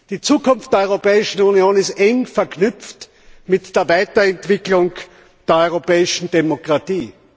Die Zukunft der Europäischen Union ist eng verknüpft mit der Weiterentwicklung der europäischen Demokratie.